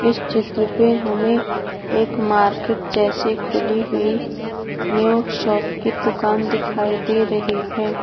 इस चित्र में हमें एक मार्किट जैसी खुली हुई न्यू शॉप की दुकान दिखाई दे रही है।